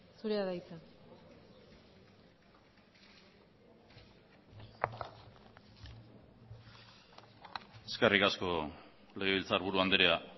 zurea da hitza eskerrik asko legebiltzarburu andrea